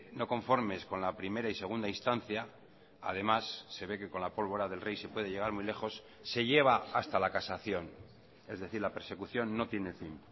no conformes con la primera y segunda instancia además se ve que con la pólvora del rey se puede llegar muy lejos se lleva hasta la casación es decir la persecución no tiene fin